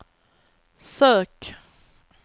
sök